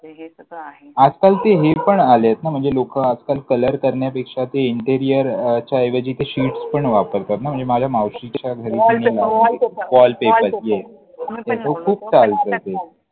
म्हणजे हे सगळं आहे. आजकाल हे पण आलेत ना, म्हणजे लोकं Colour करण्यापेक्षा ते INTERIOR च्या ऐवजी ते Sheets पण वापरतात ना म्हणजे माझ्या मावशीच्या घरी Wallpaper Wallpaper ते आहे. Wallpaper! Yes! ते खूप चालतं ते.